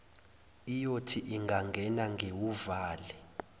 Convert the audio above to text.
iyothi ingangena ngiwuvale